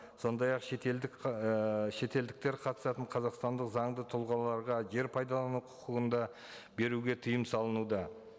сондай ақ шетелдік ы шетелдіктер қатысатын қазақстандық заңды тұлғаларға жер пайдалану құқығын да беруге тыйым салынуда